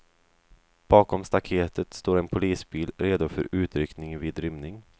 Bakom staketet står en polisbil redo för utryckning vid rymning.